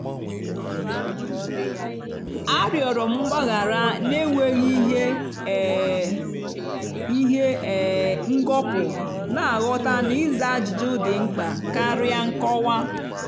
arịọrọ m gbaghara n'enweghị ihe um ihe um ngọpụ na-aghọta na ịza ajụjụ dị mkpa karịa nkọwa.